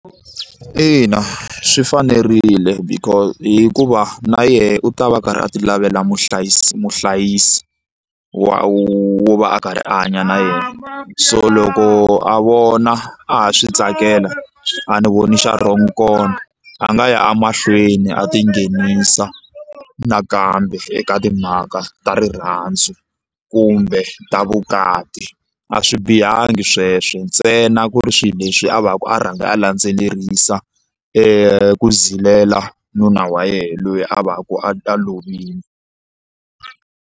Ina swi fanerile hikuva na yena u ta va a karhi a ti lavela muhlayisi muhlayisi wa wo va a karhi a hanya na yena so loko a vona a ha swi tsakela a ni voni xa wrong kona a nga ya emahlweni a ti nghenisa nakambe eka timhaka ta rirhandzu kumbe ta vukati a swi bihangi sweswo ntsena ku ri swilo leswi a va ka a rhanga a landzelerisa ku zilela nuna wa yena loyi a va ku a ta lovile.